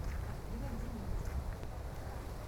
алина дементьева